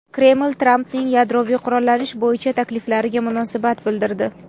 Kreml Trampning yadroviy qurollanish bo‘yicha takliflariga munosabat bildirdi.